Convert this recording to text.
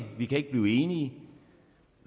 vi kan ikke blive enige